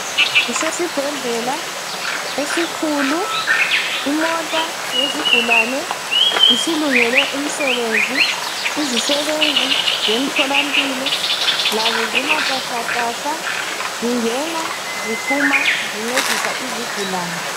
Kusesibhedlela esikhulu, imota yezigulane isilungele umsebenzi, izisebenzi zemtholampilo lazo zimatasatasa zingena ziphuma zincedisa izigulane.